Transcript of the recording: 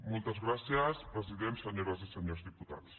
moltes gràcies president senyores i senyors diputats